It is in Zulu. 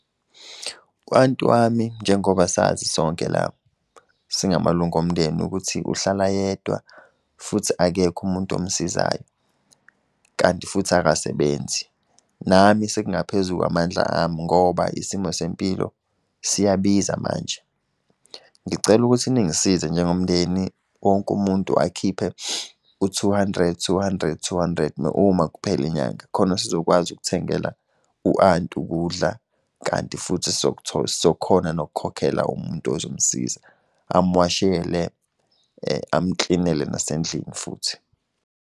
U-anti wami njengoba sazi sonke la, singamalunga omndeni ukuthi uhlala yedwa, futhi akekho umuntu omsizayo, kanti futhi akasebenzi. Nami sekungaphezu kwamandla ami ngoba isimo sempilo siyabiza manje. Ngicela ukuthi ningisize njengomndeni wonke umuntu akhiphe u-two hundred, two hundred, two hundred uma kuphela inyanga khona sizokwazi ukuthengela u-anti ukudla, kanti futhi sokhona nokukhokhela umuntu ozomusiza, amuwashele amuklinele nasendlini futhi.